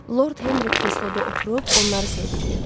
Lord Henri kresloda oturub onları seyr eləyirdi.